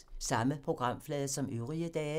Samme programflade som øvrige dage